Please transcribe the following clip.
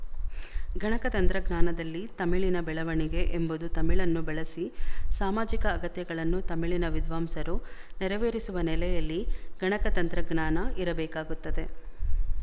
ಗಣಕತಂತ್ರಜ್ಞಾನದಲ್ಲಿ ತಮಿಳಿನ ಬೆಳವಣಿಗೆ ಎಂಬುದು ತಮಿಳನ್ನು ಬಳಸಿ ಸಾಮಾಜಿಕ ಅಗತ್ಯಗಳನ್ನು ತಮಿಳಿನ ವಿದ್ವಾಂಸರು ನೆರವೇರಿಸುವ ನೆಲೆಯಲ್ಲಿ ಗಣಕತಂತ್ರಜ್ಞಾನ ಇರಬೇಕಾಗುತ್ತದೆ